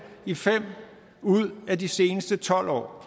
i fem ud af de seneste tolv år